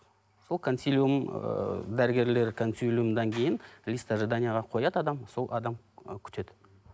сол консилиум ыыы дәрігерлер консилиумнан кейін лист ожиданияға қояды адам сол адам ы күтеді